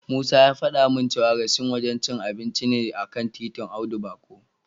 Musa ya fada min Raisins wajen cin abinci ne a kan titin Audu Bako.